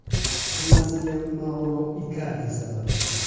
Hammasiga Mauro Ikardi sababchi.